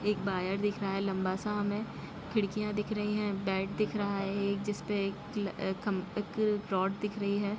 ये एक वायर दिख रहा है लंबा सा हमे खिड़कियां दिख रही है बेड दिख रहा है एक जिस पे एक ल-ख-खम एक रअड दिख रही है।